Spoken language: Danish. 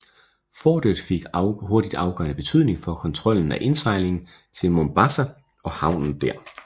Fortet fik hurtigt afgørende betydning for kontrollen af indsejlingen til Mombasa og havnen der